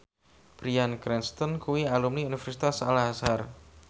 Bryan Cranston kuwi alumni Universitas Al Azhar